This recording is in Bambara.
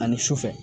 Ani sufɛ